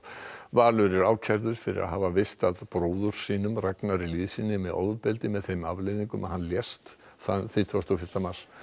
Valur er ákærður fyrir að hafa veist að bróður sínum Ragnari með ofbeldi með þeim afleiðingum að hann lést þann þrítugasta og fyrsta mars